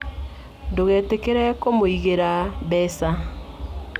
Ndũgetĩkĩre kũmũigĩra mbeca.